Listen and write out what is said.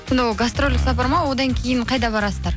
сонда ол гастрольдік сапар ма одан кейін қайда барасыздар